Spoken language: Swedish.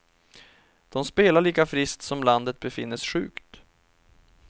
De spelar lika friskt som landet befinnes sjukt.